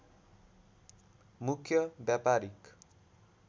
मुख्य व्यापारीक